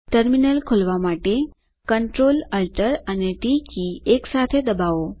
terminal ખોલવા માટે CTRLALTT એકસાથે દબાઓ